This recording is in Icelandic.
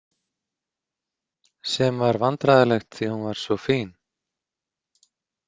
Sem var vandræðalegt því að hún var svo fín.